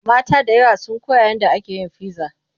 mata da yawa sun Koya yadda ake fiza